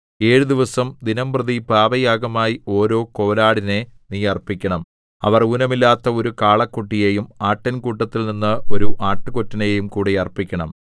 ഏഴു ദിവസം ദിനംപ്രതി പാപയാഗമായി ഓരോ കോലാടിനെ നീ അർപ്പിക്കണം അവർ ഊനമില്ലാത്ത ഒരു കാളക്കുട്ടിയെയും ആട്ടിൻകൂട്ടത്തിൽനിന്ന് ഒരു ആട്ടുകൊറ്റനെയും കൂടെ അർപ്പിക്കണം